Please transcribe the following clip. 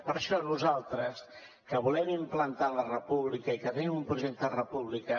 per això nosaltres que volem implantar la república i que tenim un projecte de república